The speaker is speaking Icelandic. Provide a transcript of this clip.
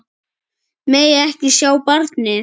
Megi ekki sjá barnið.